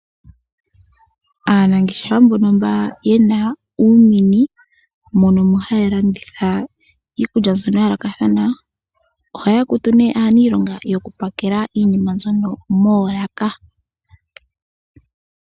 Aanangeshefa mbona yena uumini mono haya landitha iikulya mbyona ya yoolokathana ohaya kutu aanilonga yoku pakela iinima mbyono moolaka.